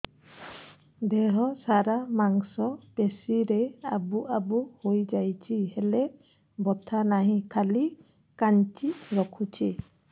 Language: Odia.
ଦେହ ସାରା ମାଂସ ପେଷି ରେ ଆବୁ ଆବୁ ହୋଇଯାଇଛି ହେଲେ ବଥା ନାହିଁ ଖାଲି କାଞ୍ଚି ରଖୁଛି